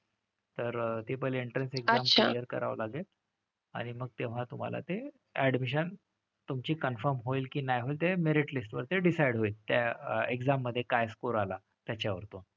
तर ती पहिली entrance exam clear करावं लागेल. आणि मग तेव्हा तुम्हाला ते admission तुमची confirm होईल की नाही होईल ते merit list वरती decide होईल. त्या exam मधे काय score आला त्याच्यावर तो.